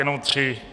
Jenom tři.